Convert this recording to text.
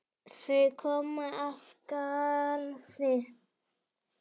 Þar kom at garði